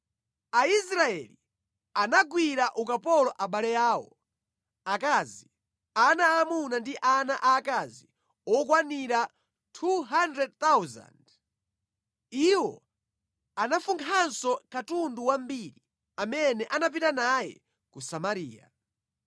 Aisraeli anagwira ukapolo abale awo, akazi, ana aamuna ndi ana aakazi okwanira 200,000. Iwo anafunkhanso katundu wambiri amene anapita naye ku Samariya.